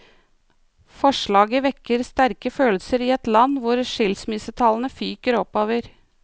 Forslaget vekker sterke følelser i et land hvor skilsmissetallene fyker oppover.